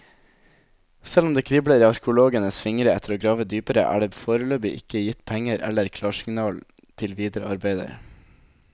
Selv om det kribler i arkeologenes fingre etter å grave dypere, er det foreløpig ikke gitt penger eller klarsignal til videre arbeider.